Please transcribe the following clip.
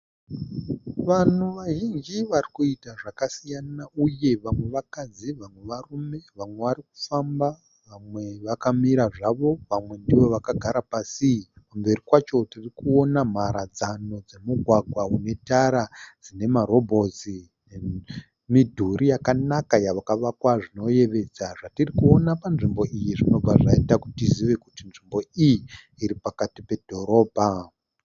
Vanhu vazhinji varikuita zvakasiyana uye vamwe vakadzi vamwe, varume vamwe varikufamba vamwe vakamira zvavo, vamwe ndivo vakagara pasi. Kumberi kwacho tirikuona mharadzano dzemugwagwa unetara unemarobhotsi. nemidhuri yakanaka yakavakwa zvinoyevedza. Zvatirikuona panzvimbo iyi zvinobva zvaita kuti tizive kuti nzvimbo iyi iripakati pedhorobha.